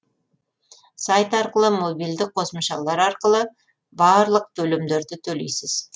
сайт арқылы мобильдік қосымшалар арқылы барлық төлемдерді төлейсіз